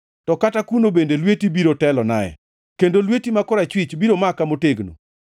to kata kuno bende lweti biro telonae, kendo lweti ma korachwich biro maka motegno.